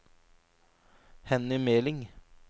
Henny Meling